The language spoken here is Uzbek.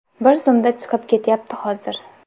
Bir zumda chiqib ketyapti hozir.